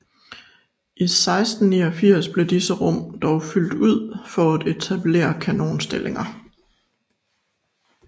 I 1689 blev disse rum dog fyldt ud for at etableret kanonstillinger